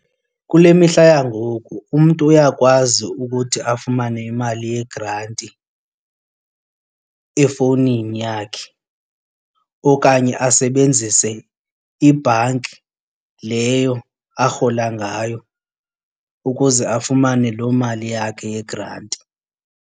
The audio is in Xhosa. Kule mihla yangoku umntu uyakwazi ukuthi afumane imali yegranti efowunini yakhe okanye asebenzise ibhanki leyo arhola ngayo ukuze afumane loo mali yakhe yegranti.